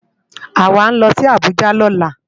Awá nlò si Abuja lòlá